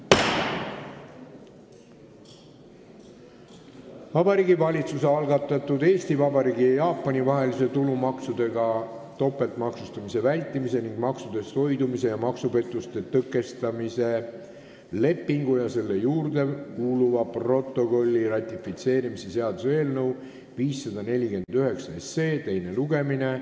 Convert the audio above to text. Vabariigi Valitsuse algatatud Eesti Vabariigi ja Jaapani vahelise tulumaksudega topeltmaksustamise vältimise ning maksudest hoidumise ja maksupettuste tõkestamise lepingu ja selle juurde kuuluva protokolli ratifitseerimise seaduse eelnõu 549 teine lugemine.